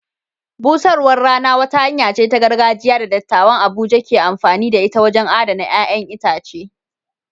Busarwar rana wata hanya ce ta gargajiya da dattawan Abuja ke amfani da ita wajen adana ƴaƴan itace.